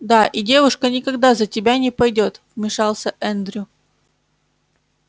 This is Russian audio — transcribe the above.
да и девушка никогда за тебя не пойдёт вмешался эндрю